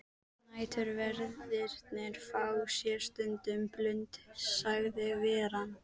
Næturverðirnir fá sér stundum blund sagði veran.